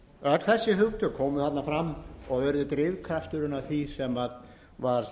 öll þessi hugtök komu þarna fram og urðu drifkrafturinn að því sem var